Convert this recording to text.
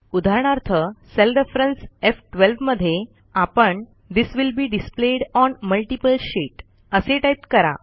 उदाहरणार्थ cell reference एफ12 मध्ये आपण this will be displayed on multiple sheet असे टाईप करा